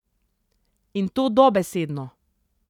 In to dobesedno.